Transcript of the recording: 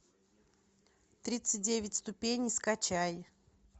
тридцать девять ступеней скачай